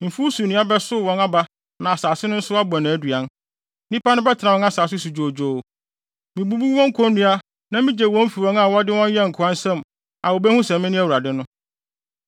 Mfuw so nnua bɛsow wɔn aba na asase no nso abɔ nʼaduan. Nnipa no bɛtena wɔn asase so dwoodwoo. Mibubu wɔn konnua na migye wɔn fi wɔn a wɔde wɔn yɛɛ nkoa nsam a wobehu sɛ mene Awurade no.